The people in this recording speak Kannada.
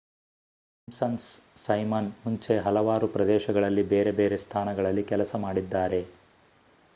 ಸಿಂಪ್ಸನ್ಸ್ ಸೈಮನ್ ಮುಂಚೆ ಹಲವಾರು ಪ್ರದರ್ಶನಗಳಲ್ಲಿ ಬೇರೆ ಬೇರೆ ಸ್ಥಾನಗಳಲ್ಲಿ ಕೆಲಸ ಮಾಡಿದ್ದಾರೆ